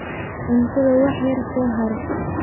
Cuntadha war yar soxare.